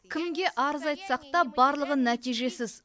кімге арыз айтсақ та барлығы нәтижесіз